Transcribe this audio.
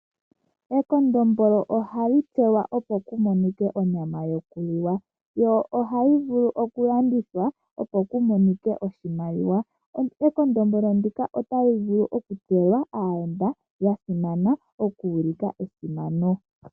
Ekondombolo ohali dhipagwa opo ku monike onyama yoku liwa. Lyo ohali vulu oku landithwa opo ku monike oshimaliwa. Ekondombolo ndika otali vulu dhipagelwa aayenda okuulika esimano.